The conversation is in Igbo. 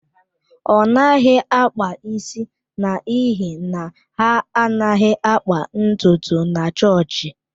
Ọ naghị akpa isi n’ihi na ha anaghị akpa ntutu na chọọchị.